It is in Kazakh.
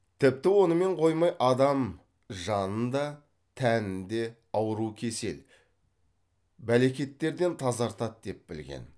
тіпті онымен қоймай адам жанын да тәнін де ауру кесел бәлекеттерден тазартады деп білген